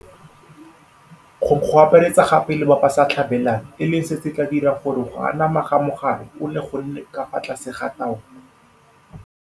gong go akaretsa gape le bao ba sa tlhabelwang, e leng seo se tla dirang gore go anama ga mogare ono go nne ka fa tlase ga taolo.